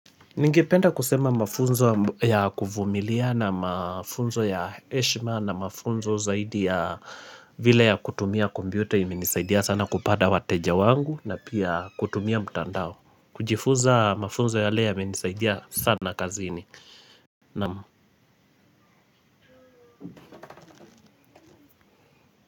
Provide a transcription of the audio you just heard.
Ningependa kusema mafunzo ya kuvumilia na mafunzo ya heshima na mafunzo zaidi ya vile ya kutumia kompyuta imenisaidia sana kupata wateja wangu na pia kutumia mtandao kujifunza mafunzo yale yamenisaidia sana kazini Naam.